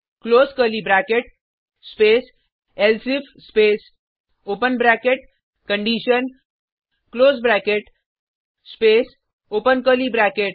close curly bracket space else if space open bracket condition close bracket space open curly bracket